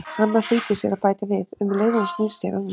Hanna flýtir sér að bæta við, um leið og hún snýr sér að mér